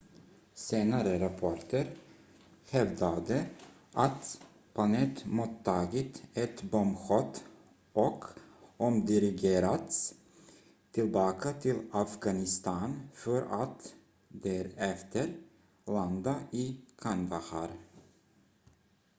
senare rapporter hävdade att planet mottagit ett bombhot och omdirigerats tillbaka till afghanistan för att därefter landa i kandahar